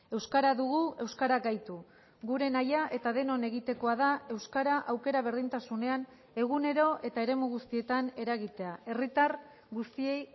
euskara dugu euskara gaitu gure nahia eta denon egitekoa da euskara aukera berdintasunean egunero eta eremu guztietan eragitea herritar guztiei